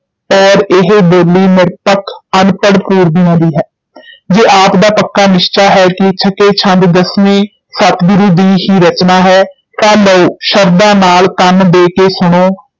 ਔਰ ਏਹ ਬੋਲੀ ਨਿਰਪੱਖ ਅਨਪੜ੍ਹ ਪੂਰਬੀਆਂ ਦੀ ਹੈ ਜੇ ਆਪ ਦਾ ਪੱਕਾ ਨਿਸਚਾ ਹੈ ਕਿ ਛੱਕੇ ਛੰਦ ਦਸਵੇਂ ਸਤਿਗੁਰੂ ਦੀ ਹੀ ਰਚਨਾ ਹੈ, ਤਾਂ ਲਓ ਸ਼ਰਧਾ ਨਾਲ ਕੰਨ ਦੇ ਕੇ ਸੁਣੋ,